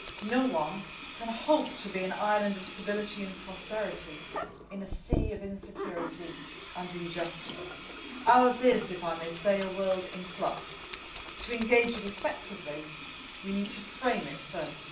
No one can hope to be an island of stability and prosperity in a sea of insecurity and injustice. Ours is, if I may say, a world in flux. To engage with it effectively, we need to frame it first.